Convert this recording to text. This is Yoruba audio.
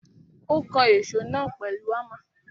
Ó kan èsó náà pèlu Hámà.